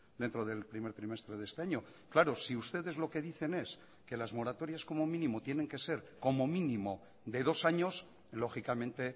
dentro del primer trimestre de este año claro si ustedes lo que dicen es que las moratorias como mínimo tienen que ser como mínimo de dos años lógicamente